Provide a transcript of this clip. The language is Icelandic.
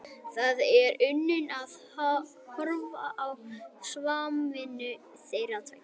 Það er unun að horfa á samvinnu þeirra tveggja.